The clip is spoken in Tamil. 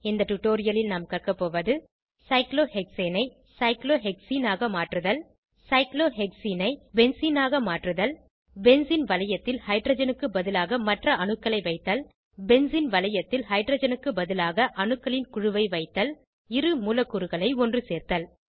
இந்த டுடோரியலில் நாம் கற்க போவது சைக்ளோஹெக்சேனை சைக்ளோஹெக்சீனாக மாற்றுதல் சைக்ளோஹெக்சீனை பென்சீனாக மாற்றுதல் பென்சீன் வளையத்தில் ஹைட்ரஜனுக்கு பதிலாக மற்ற அணுக்களை வைத்தல் பென்சீன் வளையத்தில் ஹைட்ரஜனுக்கு பதிலாக அணுக்களின் குழுவை வைத்தல் இரு மூலக்கூறுகளை ஒன்றுசேர்த்தல்